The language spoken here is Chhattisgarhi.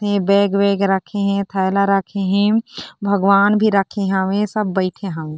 बेग वेग रखे हे थैला रखे हे भगवान भी हावे सब हावे।